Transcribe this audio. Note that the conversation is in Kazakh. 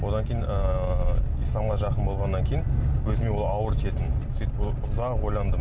одан кейін ыыы исламға жақын болғаннан кейін өзіме ол ауыр тиетін сөйтіп ұзақ ойландым